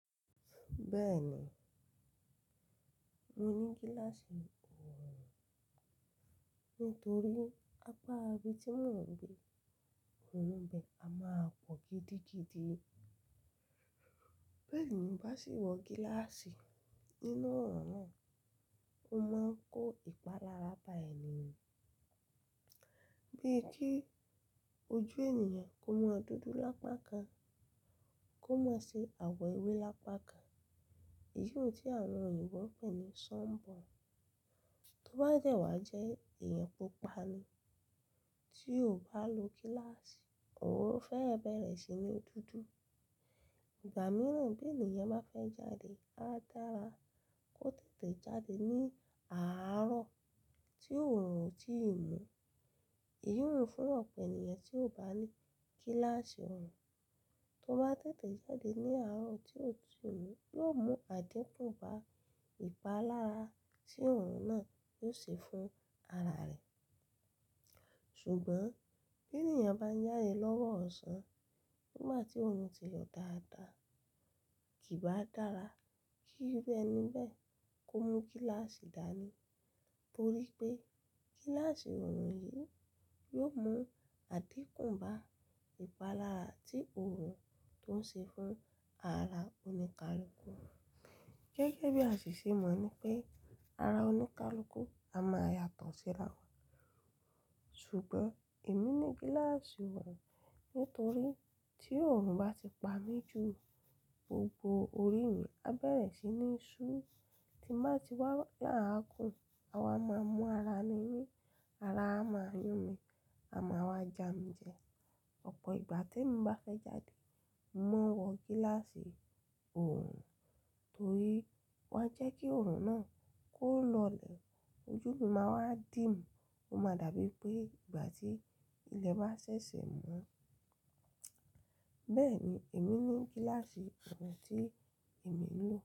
Bẹ́ẹ̀ ni, mo ní gíláàsì ọ̀ọ̀run nítorí apá abi tí mò ń gbé, òòrùn bẹ a máa pọ̀ gidigidi. Bẹ́ẹ̀ ni bá sì wọ gíláàsì nínú ọ̀ọ̀run náà, ó máa ń kó ìpalára bá ẹni. Bíi kí ojú ènìyàn kó máa dúdú lápákan, kó má ṣe àwọ̀ ewé lápákan, èyí tí àwọn òyìnbó ń pè ní sun burn. Tó bá de wa jẹ́ èèyàn pupa ni tí o bá lo gíláàsì ọ̀ọ̀run, ó fẹ́ bẹ̀rẹ̀ sí ní dúdú. Ìgbà mìíràn bí ènìyàn bá fẹ́ jáde, á dára kó tètè jáde ní àárọ̀ tí òòrùn ò tíì mú. Èyí hun fún ọ̀pọ̀ ènìyàn tí ò bá ní gíláàsì ọ̀ọ̀run. Tó bá tètè jáde ní àárọ̀ tí òòrùn tí ò mú, yóò mú àdínkù bá ìpalára tí òòrùn náà yóò ṣe fún ara rẹ̀. Ṣùgbọ́n bí ènìyàn bá jáde lọ́wọ́ ọ̀sán nígbà tí òòrùn ti yọ dáadáa, kì bá dára kí iru ẹni bẹ kó mú gíláàsì dání torí pé gíláàsì ọ̀ọ̀run yìí yóò mú àdínkù bá ìpalára tí òòrùn tó ń ṣe fún ara oníkálukú. Gẹ́gẹ́ bí àṣìṣe mọ̀ ní pé ara oníkálukú a máa yàtọ̀ síra. Ṣùgbọ́n èmi ní gíláàsì ọ̀ọ̀run nítorí tí òòrùn bá ti pa mí ju gbogbo orí mi, á bẹ̀rẹ̀ sí ní ṣú ti má ti wá laagún. Awa máa mú ara mi ní, ara a máa yún mi, a máa wá ja mi jẹ. Ọ̀pọ̀ ìgbà tèmi bá fẹ́ jáde, mo ma ń wọ gíláàsì ọ̀ọ̀run torí ó máa ń jẹ́ kí òòrùn náà kó lọlẹ̀. Ojú mi máa wá dím, ó máa dàbí pé ìgbà tí ilẹ̀ bá ṣẹ̀ṣẹ̀ mọ́. Bẹ́ẹ̀ ni èmi ní gíláàsì ọ̀ọ̀run tí èmi ń lò.